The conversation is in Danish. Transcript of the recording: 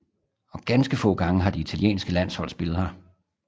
Og ganske få gange har det italienske landshold spillet her